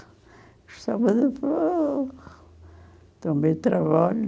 Gostava de também trabalho.